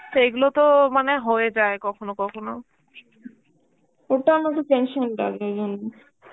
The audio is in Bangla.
তো এগুলো তো মানে হয়ে যায় কখনো কখনো. ওটা